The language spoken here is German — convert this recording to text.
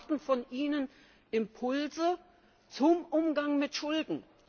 Wir erwarten von Ihnen Impulse zum Umgang mit Schulden.